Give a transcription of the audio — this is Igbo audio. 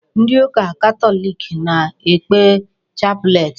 Ndị ụka Katọlik na-ekpe chaplet.